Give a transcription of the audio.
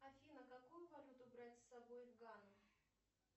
афина какую валюту брать с собой в ганну